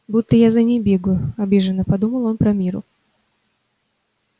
будто я за ней бегаю обиженно подумал он про мирру